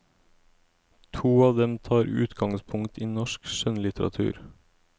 To av dem tar utgangspunkt i norsk skjønnlitteratur.